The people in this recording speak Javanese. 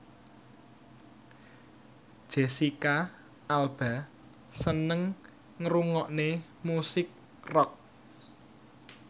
Jesicca Alba seneng ngrungokne musik rock